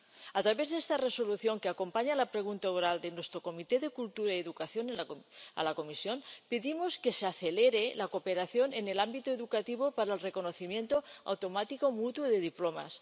A través de esta Resolución que acompaña a la pregunta oral de nuestra Comisión de Cultura y Educación a la Comisión, pedimos que se acelere la cooperación en el ámbito educativo para el reconocimiento automático mutuo de diplomas.